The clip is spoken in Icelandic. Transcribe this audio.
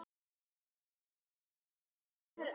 Elísabet: Hvað er svona gaman við þetta?